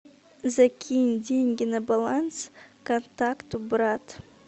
закинь деньги на баланс контакту брат